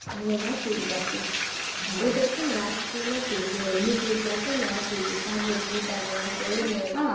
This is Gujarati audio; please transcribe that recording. હવે વાચીસ પછી હું તો છે ને વાંચતી નથી મેં youtube માં છે ને આખી ભાગવત ગીતા નું આખું હેને